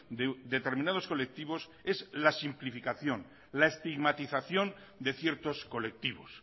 de determinados colectivos es la simplificación la estigmatización de ciertos colectivos